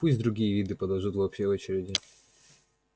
пусть другие виды подождут в общей очереди